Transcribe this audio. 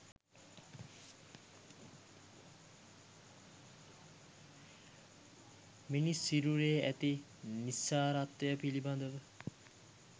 මිනිස් සිරුරේ ඇති නිස්සාරත්වය පිළිබඳ